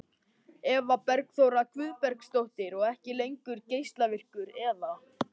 Eva Bergþóra Guðbergsdóttir: Og ekki lengur geislavirkur eða?